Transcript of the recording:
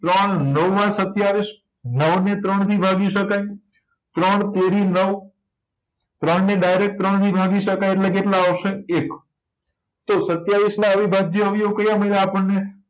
ત્રણ નવા સતીયાવીસ નવ ને ત્રણ થી ભાગી શકાય ત્રણ તેરી નવ ત્રણ ને direct ત્રણ થી ભાગી શકાય એટલે કેટલા આવશે એક તો સતીયાવીસ ના અવિભાજ્ય અવયવી કયા મળ્યા આપણને